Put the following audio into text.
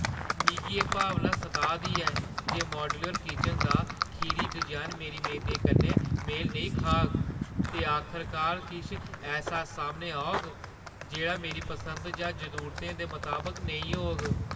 मिगी एह् भावना सताऽ दी ऐ जे माड्यूलर किचन दा खीरी डिजाइन मेरी मेदें कन्नै मेल नेईं खाग, ते आखरकार किश ऐसा सामनै औग जेह्ड़ा मेरी पसंद जां जरूरतें दे मताबक नेईं होग।